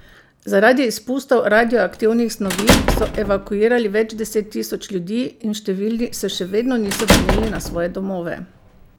Zaradi izpustov radioaktivnih snovi so evakuirali več deset tisoč ljudi in številni se še vedno niso vrnili na svoje domove.